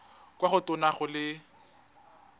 kwa go tona go le